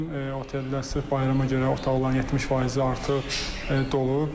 Bizim oteldə sırf bayrama görə otaqların 70 faizi artıq dolub.